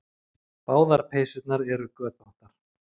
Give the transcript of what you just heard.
Báðar peysurnar eru götóttar.